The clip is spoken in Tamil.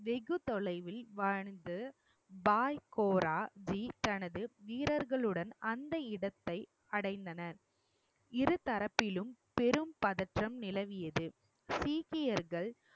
வெகுதொலைவில் வாழ்ந்து பாய் கோரா ஜி தனது வீரர்களுடன் அந்த இடத்தை அடைந்தனர் இருதரப்பிலும் பெரும் பதற்றம் நிலவியது சீக்கியர்கள்